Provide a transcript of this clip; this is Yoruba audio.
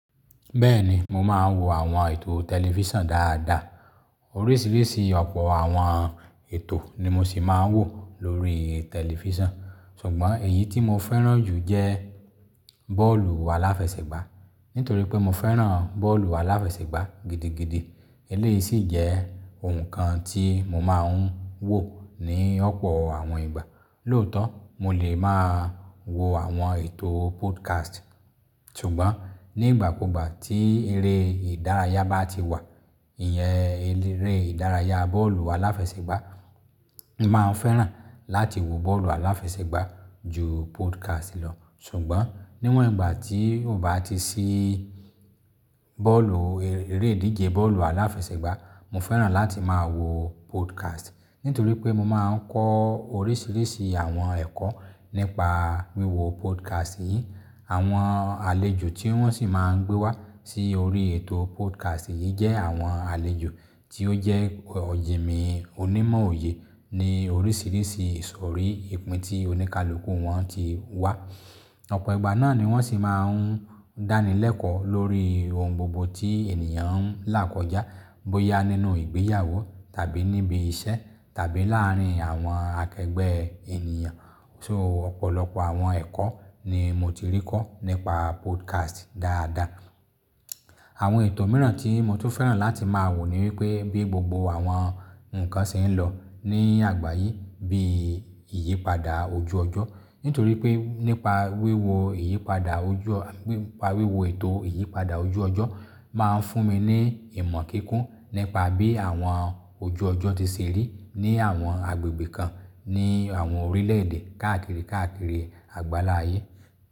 Bẹ́ẹ̀ni, mo máa ń wo àwọn ètò tẹlifísàn dáadáa. Oríṣiríṣi ọ̀pọ̀ àwọn ètò ni mo sì máa ń wò lórí tẹlifísàn. Ṣùgbọ́n èyí tí mo fẹ́ràn jù jẹ́ bọ́ọ̀lù aláfẹsẹ̀gbá. Nítorí pé mo fẹ́ràn bọ́ọ̀lù aláfẹsẹ̀gbá gidigidi. Eléyìí sì jẹ́ ohun kan tí mo máa ń wò ní ọ̀pọ̀ àwọn ìgbà. Lóòótọ́, mo lè máa wo àwọn ètò podcast. Ṣùgbọ́n nígbàkúgbà tí eré ìdárayá bá ti wà, ìyẹn eré ìdárayá bọ́ọ̀lù aláfẹsẹ̀gbá, mo máa ń fẹ́ràn láti wo bọ́ọ̀lù aláfẹsẹ̀gbá ju podcast lọ. Ṣùgbọ́n níwọ̀n ìgbà tí o bá ti sí bọ́ọ̀lù, eré ìdíje bọ́ọ̀lù aláfẹsẹ̀gbá, mo fẹ́ràn láti máa wo podcast. Nítorí pé mo máa ń kọ́ oríṣiríṣi àwọn ẹ̀kọ́ nípa wíwo podcast yìí. Àwọn àlejò tí wọ́n sì máa ń gbé wá sí orí ètò podcast yìí jẹ́ àwọn àlejò tí ó jẹ́ òjìmi onímọ̀ òye ní oríṣiríṣi ìsòrí ìpín tí oníkálukú wọn ti wá. Ọ̀pọ̀ ìgbà náà ni wọ́n sì máa ń dánilẹ́kọ̀ọ́ lórí ohun gbogbo tí ènìyàn ń là kọjá. Bóyá nínú ìgbéyàwó tàbí níbi iṣẹ́ tàbí láàárín àwọn akẹgbẹ́ ènìyàn. So ọ̀pọ̀lọpọ̀ àwọn ẹ̀kọ́ ni mo ti rí kọ́ nípa podcast dáadáa. Àwọn ètò mìíràn tí mo tún fẹ́ràn láti máa wò ni wípé bí gbogbo àwọn nǹkan ṣe ń lọ ní àgbáyé bí ìyípadà ojú ọjọ́. Nítorí pé nípa wíwo ìyípadà ojú ọ-- nípa wíwo ètò ìyípadà ojú ọjọ́ máa ń fún mi ní ìmọ̀ kíkún nípa bí àwọn ojú ọjọ́ ti ṣe rí ní àwọn agbègbè kan ní àwọn orílẹ̀-èdè káàkiri káàkiri àgbáláyé.